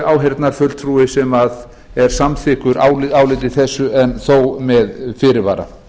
áheyrnarfulltrúi sem er samþykkur áliti þessu en þó með fyrirvara